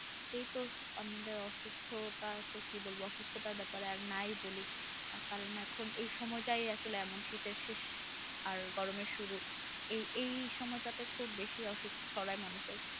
এইতো আমরা আর কি বলব অসুস্থ হওয়ার ব্যাপারে বা নাই বলি এই সময়টা আসলে এমন শীতের শেষ গরম সময় শুরু এই এই সময়টাতে একটু বেশি অসুস্থ ছড়াই মানুষের